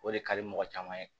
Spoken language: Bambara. O de ka di mɔgɔ caman ye